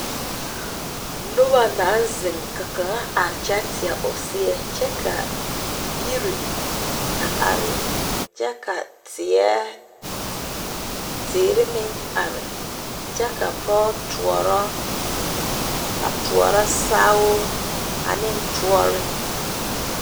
Noba naŋ zeŋ ka kaŋa are kyɛ teɛ o seɛ kyɛ ka yire a are kyɛ ka teere meŋ are kyɛ ka pɔge toɔro sao ane tɔɔre.